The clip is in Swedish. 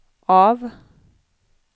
av